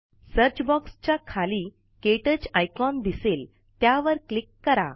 search बॉक्सच्या खाली क्टच आइकॉन दिसेल त्यावर क्लिक कारा